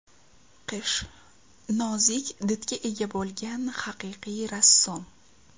Qish nozik didga ega bo‘lgan haqiqiy rassom.